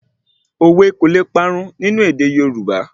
Òwe kò le parun nínú èdè Yorùbá